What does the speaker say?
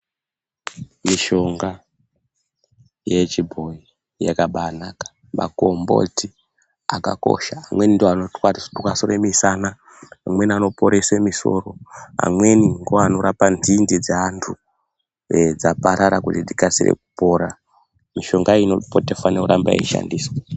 Mishonga yechibhoyi yabaanaka. Magomboti akakosha. Amweni ndooanokwanise kutwasanure mushana. Amweni anoporese musoro. Amweni ndiwo anorapa nzinde dzaantu dzaparara kuti dzikasike kupora. Mishonga iyi inofanire kuramba yeishandiswa.